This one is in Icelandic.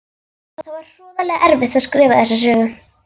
Það var hroðalega erfitt að skrifa þessa sögu.